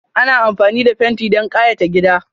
Ana amfani da fenti don kayata gida.